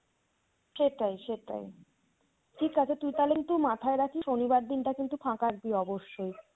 সেটাই সেটাই। ঠিক আছে তুই তাহলে কিন্তু মাথায় রাখিস শনিবার দিনটা কিন্তু ফাঁকা রাখবি অবশ্যই।